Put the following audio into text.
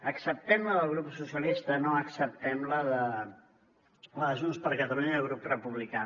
acceptem la del grup socialistes no acceptem la de junts per catalunya i el grup republicà